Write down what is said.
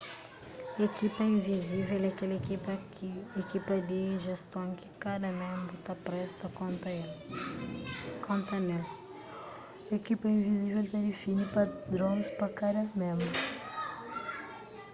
ekipa invizível é kel ekipa di jeston ki kada ménbru ta presta konta ne-l ekipa invizível ta difini padrons pa kada ménbru